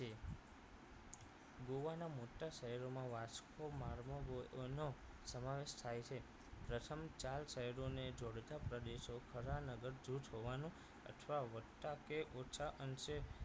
ગોવાના મોટા શહેરોમાં વાસ્કો મારમોઓનો સમાવેશ થાય છે પ્રથમ ચાર શહેરોને જોડતા પ્રદેશો ખરા નગર જુથ હોવાનું અથવા વધતા કે ઓછા અંશે